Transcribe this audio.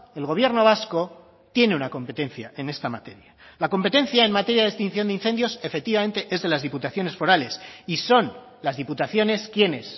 el gobierno vasco tiene una competencia en esta materia la competencia en materia de extinción de incendios efectivamente es de las diputaciones forales y son las diputaciones quienes